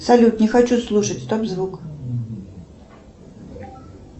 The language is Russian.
салют не хочу слушать стоп звук